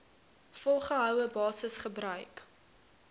volgehoue basis gebruik